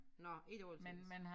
Nåh ikke altid